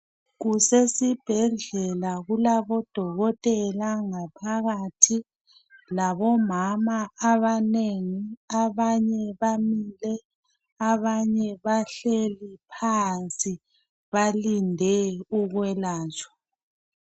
Kusesibhedlela kulabodokotela ngaphakathi labomama abanengi abanye bamile abanye bahleli phansi balindwe ukwelatshwa.